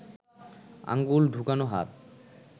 আঙুল ঢুকোনো হাত